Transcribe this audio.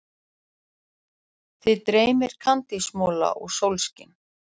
Þig dreymir kandísmola og sólskin.